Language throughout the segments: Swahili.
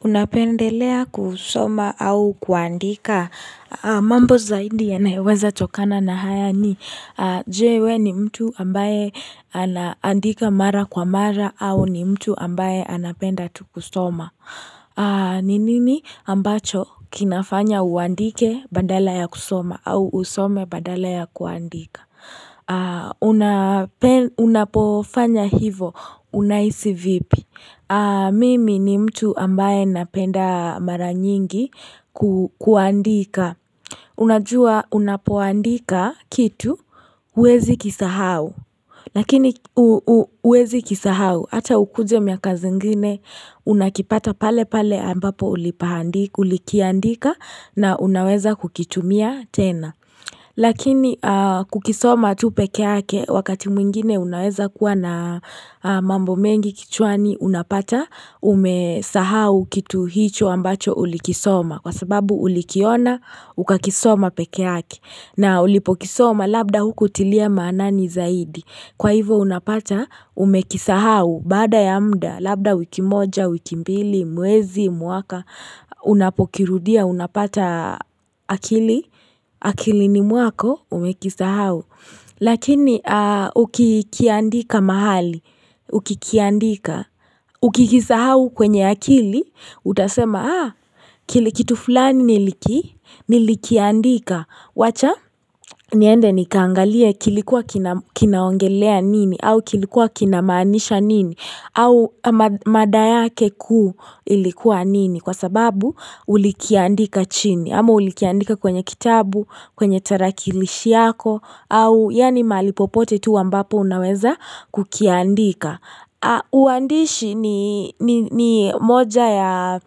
Unapendelea kusoma au kuandika, mambo zaindi ya naeweza chokana na haya ni, jewe ni mtu ambaye anandika mara kwa mara au ni mtu ambaye anapenda kusoma Ninini ambacho kinafanya uandike badala ya kusoma au usome badala ya kuandika Unapofanya hivo unaisi vipi Mimi ni mtu ambaye napenda mara nyingi kuandika unajua unapuandika kitu uwezi kisahau Lakini uwezi kisahau hata ukuje miaka zingine Unakipata pale pale ambapo ulipahandika ulikiandika na unaweza kukitumia tena Lakini kukisoma tupekeake wakati mwingine unaweza kuwa na mambo mengi kichuani unapata umesahau kitu hicho ambacho ulikisoma kwa sababu ulikiona ukakisoma pekeake na ulipokisoma labda huku tilia manani zaidi. Kwa hivo unapata, umekisahau, baada ya muda, labda wiki moja, wiki mbili, muwezi, muwaka, unapokirudia, unapata akili, akili ni muwako, umekisahau. Lakini, ukikiandika mahali, ukikiandika, ukikisahau kwenye akili, utasema, aa, kilikitu fulani niliki, nilikiandika. Wacha niende ni kangalie kilikuwa kinaongelea nini au kilikuwa kinamaanisha nini au madaya kekuu ilikuwa nini kwa sababu ulikiaandika chini ama ulikiaandika kwenye kitabu kwenye tarakilishi yako au yani malipopote tu ambapo unaweza kukiandika. Uandishi ni moja ya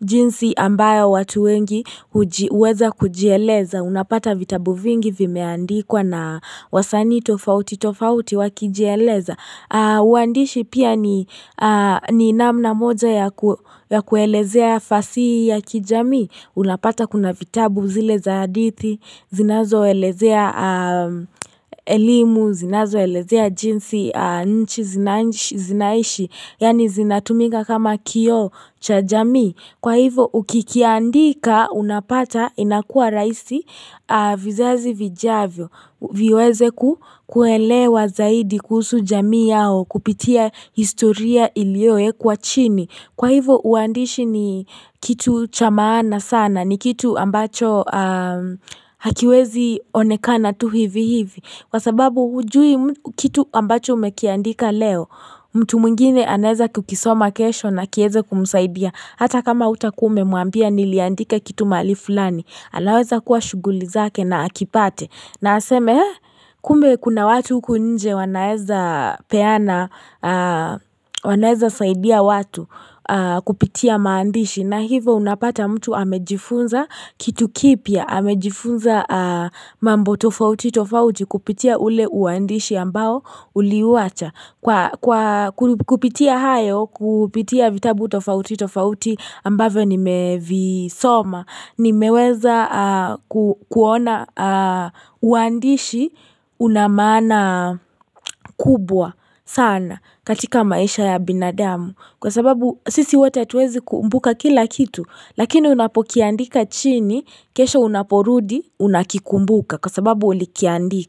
jinsi ambayo watu wengi uweza kujieleza unapata vitabu vingi vimeandikwa na wasani tofauti tofauti wakijieleza uandishi pia ni namna moja ya kuelezea fasi ya kijami unapata kuna vitabu zile zaadithi zinazo elezea elimu, zinazo elezea jinsi nchi, zinaishi yani zinatumika kama kio cha jamii Kwa hivo ukikiandika unapata inakua raisi vizazi vijavyo viweze kuelewa zaidi kuhusu jamii yao kupitia historia ilioe kwa chini Kwa hivo uandishi ni kitu cha maana sana ni kitu ambacho hakiwezi one kana tu hivi hivi kwa sababu hujui kitu ambacho umekiandika leo mtu mwingine aneza kukisoma kesho na kieze kumusaidia hata kama utakume muambia niliandika kitu mali fulani Alaweza kuwa shuguli zake na akipate na aseme kume kuna watu kunje wanaeza peana Mimi ni mtu ambaye napenda mara nyingi kuandika Unajua unapuandika kitu uwezi kisahau Lakini uwezi kisahau hata ukuje miaka zingine Unakipata pale pale ambapo ulipahandika Ulikiandika na unaweza kukitumia tena Lakini kukisoma tupekeake wakati mwingine unaweza kuwa na mambo mengi kichuani unapata umesahau kitu hicho ambacho ulikisoma kwa sababu ulikiona ukakisoma pekeake na ulipokisoma labda huku tilia manani zaidi. Kwa hivo unapata, umekisahau, bada ya mda, labda wiki moja, wiki mbili, muwezi, muwaka, unapokirudia, unapata akili, akili ni muwako, umekisahau. Lakini, ukikiandika mahali, ukikiandika, ukikisahau kwenye akili, utasema, aa, kilikitu fulani niliki, nilikiandika. Wacha niende ni kangalie kilikuwa kinaongelea nini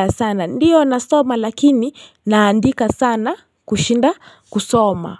au kilikuwa kinamaanisha nini.